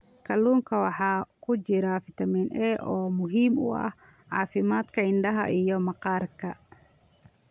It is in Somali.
Kalluunka waxaa ku jira fitamiin A oo muhiim u ah caafimaadka indhaha iyo maqaarka.